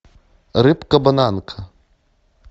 рыбка бананка